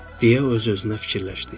deyə öz-özünə fikirləşdi.